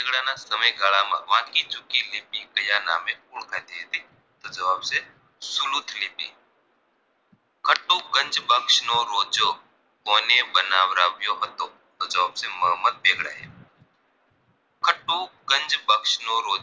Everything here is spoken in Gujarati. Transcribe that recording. કયા નામે ઓળખાતી હતી તો જવાબ છે સુલુઠલેટી કતુકબંજ બક્સ નો રોજો કોને બનાવરાવ્યો હતો તો જવાબ છે મોહમ્મદ બેગડા એ ખતુકબંજ બક્સ નો